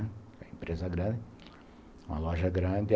Era uma empresa grande, uma loja grande.